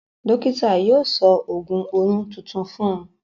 Dọ́kítà yóò sọ ògùn oyún tuntun fún un.